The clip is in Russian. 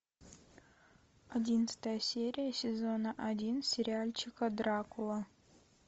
одиннадцатая серия сезона один сериальчика дракула